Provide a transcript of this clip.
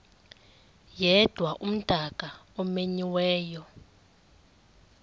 yedwa umdaka omenyiweyo